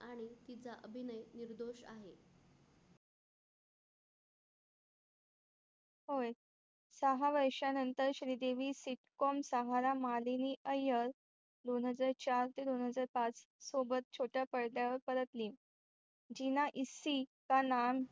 सहा वर्षा नंतर श्रीदेवी सीटकोम सहारा मालिनी अय्यर दोन हजार चार ते दोन हजार पाच सोबत छोट्या पडद्यावर पलटली जीना इसी का नाम